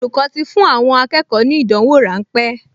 Olùkọ́ ti fún àwọn akẹ́kọ̀ọ ní ìdánwò ráńpẹ́